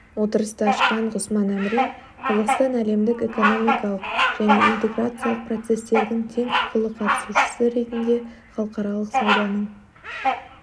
отырысты ашқан ғұсман әмірин қазақстан әлемдік экономикалық және интеграциялық процестердің тең құқылы қатысушысы ретінде халықаралық сауданың